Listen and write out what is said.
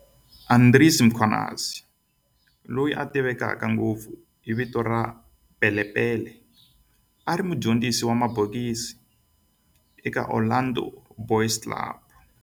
Andries Mkhwanazi, loyi a tiveka ngopfu hi vito ra Pele Pele, a ri mudyondzisi wa mabokisi eka Orlando Boys Club.